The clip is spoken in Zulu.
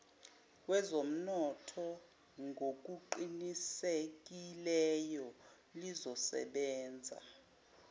wezomnotho ngokuqinisekileyo lizosebenza